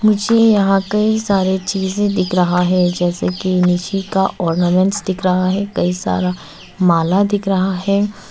मुझे यहां पे सारे चीजें दिख रहा है जैसे कि निशि का ऑर्नामेंट्स दिख रहा है कई सारा माल दिख रहा है।